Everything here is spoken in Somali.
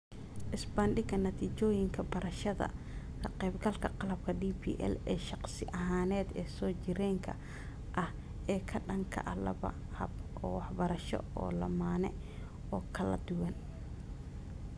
Isbarbardhigga natiijooyinka barashada ka-qaybgalka qalabka DPL ee shakhsi ahaaneed ee soo jireenka ah ee ka dhanka ah laba hab oo waxbarasho oo lammaane oo kala duwan.